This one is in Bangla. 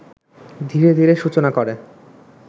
ধীরে ধীরে সূচনা করে